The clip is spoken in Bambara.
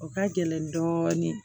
O ka gɛlɛn dɔɔnin